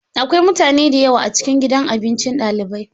Akwai mutane da yawa a cikin gidan abinci dalibai.